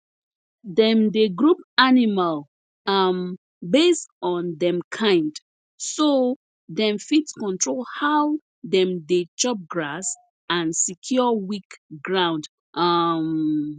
dem dey group animal um based on dem kind so dem fit control how dem dey chop grass and secure weak ground um